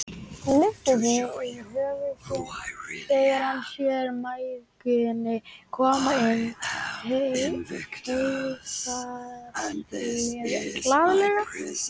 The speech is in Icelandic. Hann lyftir því yfir höfuð sér þegar hann sér mæðginin koma inn og heilsar glaðlega.